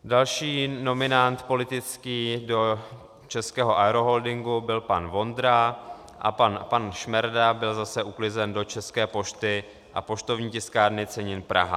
Další politický nominant do Českého aeroholdingu byl pan Vondra, a pan Šmerda byl zase uklizen do České posty a Poštovní tiskárny cenin Praha.